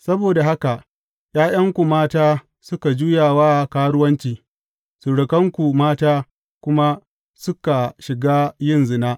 Saboda haka ’ya’yanku mata suka juya wa karuwanci surukanku mata kuma suka shiga yin zina.